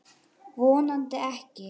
Vonandi ekki.